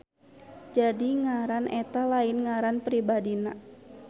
Jadi ngaran eta lain ngaran pribadina.